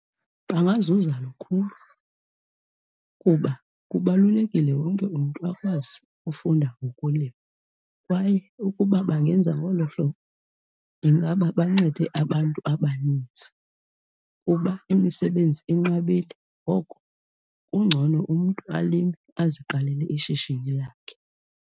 Bangazuza lukhulu kuba kubalulekile wonke umntu akwazi ufunda ngokulima kwaye ukuba bangenza ngolo hlobo ingaba bancede abantu abaninzi, kuba imisebenzi inqabile. Ngoko kungcono umntu alime aziqalele ishishini lakhe.